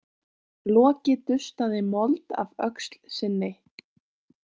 Loki dustaði mold af öxl sinni.